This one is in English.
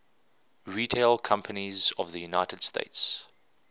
retail companies of the united states